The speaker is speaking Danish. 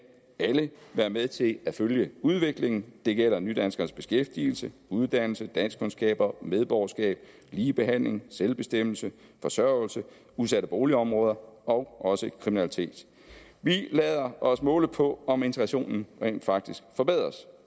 alle være med til at følge udviklingen det gælder nydanskernes beskæftigelse uddannelse danskkundskaber medborgerskab ligebehandling selvbestemmelse forsørgelse udsatte boligområder og også kriminalitet vi lader os måle på om integrationen rent faktisk forbedres